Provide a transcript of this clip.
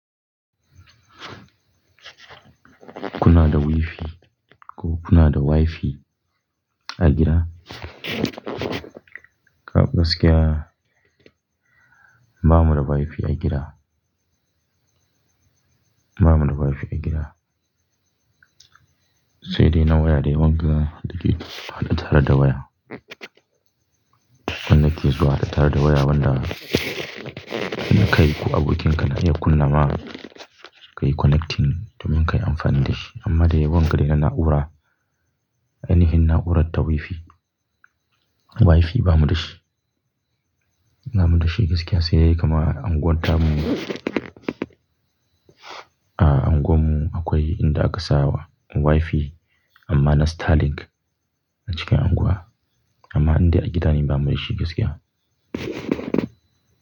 Kuna da wifi ko kuna da wifi a gida? Ka gaskiya bamu da wifi a gida. Ba mu da wifi a gida. Sai dai na waya dai wanda da ke haɗe tare da waya. Wanda ke zuwa haɗa tare da waya wanda ina kai ku abokinka na iya kunna ma ka yi connecting domin ka yi amfani da shi. Amma dai wanga dai na na'ura, ainihin na'urar ta wifi. Wifi ba mu da shi. Ba mu da shi gaskiya sai dai kamar unguwar ta mu. A unguwar mu akwai inda aka saa wifi amma na Starlink a cikin unguwa. Amma inda a gida ne ba mu da shi gaskiya.